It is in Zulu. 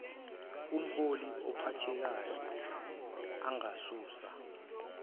umhloli ophathekayo angasusa